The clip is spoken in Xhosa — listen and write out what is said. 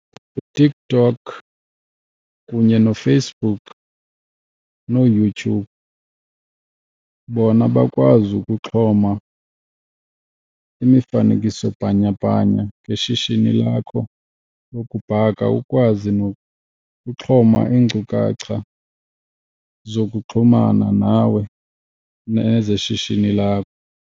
UTikTok kunye noFacebook noYouTube bona bakwazi ukuxhoma imifanekiso bhanyabhanya ngeshishini lakho lokubhaka, ukwazi nokuxhoma iinkcukacha zokuxhumana nawe nezeshishini lakho.